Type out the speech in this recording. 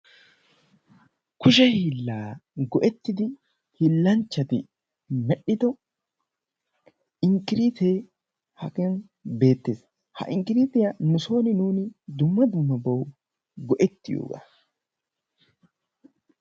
kushe hiillaa go'ettidi hiillanchchati medhdhiddo inkkiriitte hagan beettees. Ha inkkiriitiya nusoni nuuni dumma dummabawu go"ettiyogaa.